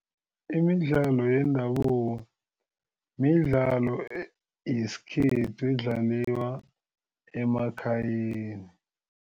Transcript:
Imidlalo yendabuko midlalo yesikhethu edlaliwa emakhayeni.